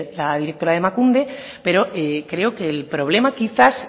la directora de emakunde pero creo que el problema quizás